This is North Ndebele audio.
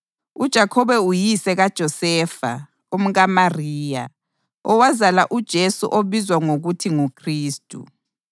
uJakhobe uyise kaJosefa, umkaMariya, owazala uJesu obizwa ngokuthi nguKhristu.